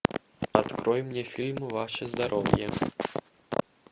открой мне фильм ваше здоровье